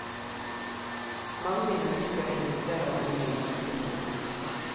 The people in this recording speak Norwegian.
Mange mennesker investerer mye i hestemiljøet.